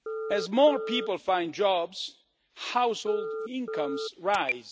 As more people find jobs, household incomes rise.